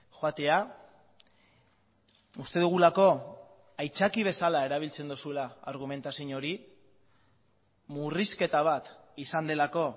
joatea uste dugulako aitzaki bezala erabiltzen duzula argumentazio hori murrizketa bat izan delako